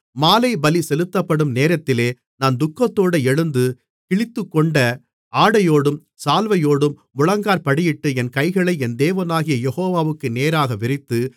மாலை பலி செலுத்தப்படும் நேரத்திலே நான் துக்கத்தோடே எழுந்து கிழித்துக்கொண்ட ஆடையோடும் சால்வையோடும் முழங்காற்படியிட்டு என் கைகளை என் தேவனாகிய யெகோவாவுக்கு நேராக விரித்து